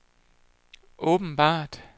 åbenbart